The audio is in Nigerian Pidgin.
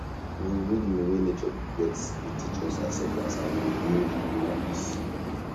dey rhythm wey nature get dey teach us acceptance and e dey bring inner peace